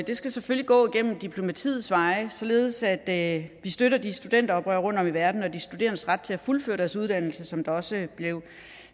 det skal selvfølgelig gå ad diplomatiets veje således at vi støtter de studenteroprør rundtom i verden og de studerendes ret til at fuldføre deres uddannelse som det også blev